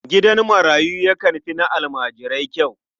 Gidan marayu yakan fi na almajirai kyau.